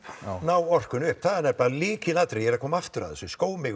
ná orkunni upp það er nefnilega lykilatriði og ég er að koma aftur að þessu